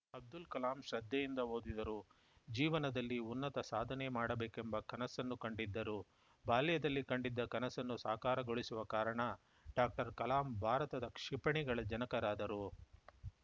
ಅಬ್ದುಲ್‌ ಕಲಾಂ ಶ್ರದ್ಧೆಯಿಂದ ಓದಿದರು ಜೀವನದಲ್ಲಿ ಉನ್ನತ ಸಾಧನೆ ಮಾಡಬೇಕೆಂಬ ಕನಸ್ಸನ್ನು ಕಂಡಿದ್ದರು ಬಾಲ್ಯದಲ್ಲಿ ಕಂಡಿದ್ದ ಕನಸನ್ನು ಸಾಕಾರಗೊಳಿಸುವ ಕಾರಣ ಡಾಕ್ಟರ್ಕಲಾಂ ಭಾರತದ ಕ್ಷಿಪಣಿಗಳ ಜನಕರಾದರು